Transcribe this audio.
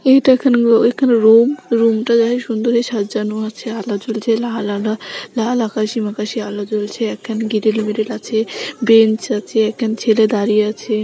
এটা একখান একখানা রুম রুমটা সুন্দরী সাজানো আছে আলো জ্বলছে লাল আলো লাল আকাশি মাকাসি আকাশি আলো জ্বলছে এক খান গ্রিল মিরিল আছে বেঞ্চ আছে এক খান ছেলে দাঁড়িয়ে আছে ।